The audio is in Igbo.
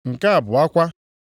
Nke abụọ kwa